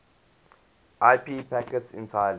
ip packets entirely